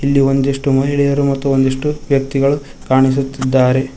ಇಲ್ಲಿ ಒಂದಿಷ್ಟು ಮಹಿಳೆಯರು ಮತ್ತು ಒಂದಿಷ್ಟು ವ್ಯಕ್ತಿಗಳು ಕಾಣಿಸುತ್ತಿದ್ದಾರೆ.